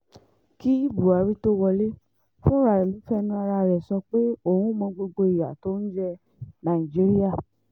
kí buhari tóó wọlé fúnra ẹ ló fẹnu ara rẹ sọ pé òun mọ gbogbo ìyà tó ń jẹ nàìjíríà